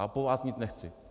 A po vás nic nechci.